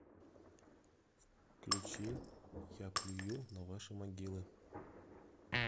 включи я плюю на ваши могилы